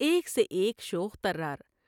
ایک سے ایک شوخ طرار ۔